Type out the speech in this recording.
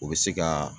U bɛ se ka